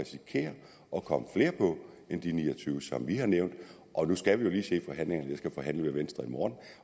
og komme flere på end de ni og tyve som vi har nævnt nu skal vi jo lige se forhandlingerne jeg skal forhandle med venstre i morgen